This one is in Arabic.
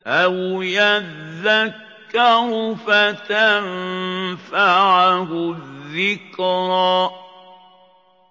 أَوْ يَذَّكَّرُ فَتَنفَعَهُ الذِّكْرَىٰ